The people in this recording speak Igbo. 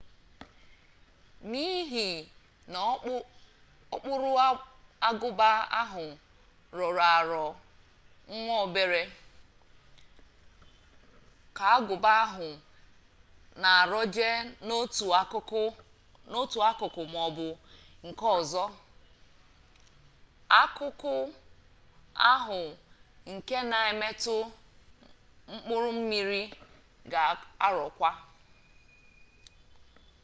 n'ihi na okpuru agụba ahụ rọrọ arọ nwa obere ka agụba ahụ na-arọje n'otu akụkụ maọbụ nke ọzọ akụkụ ahu nke na-emetụ mkpụrụ mmiri ga arọkwa